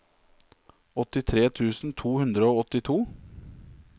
åttitre tusen to hundre og åttito